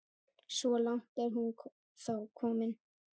Svo langt er hún þó komin.